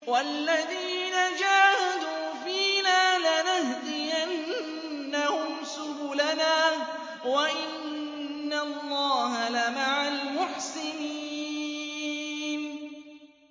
وَالَّذِينَ جَاهَدُوا فِينَا لَنَهْدِيَنَّهُمْ سُبُلَنَا ۚ وَإِنَّ اللَّهَ لَمَعَ الْمُحْسِنِينَ